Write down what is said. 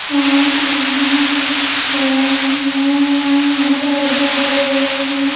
हें मंदिर बना पे पेड़ ह अ-अ-अ पेड़ उधर लगे हुए हैं।